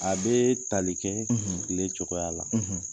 A bee tali kɛ tile cogoya la.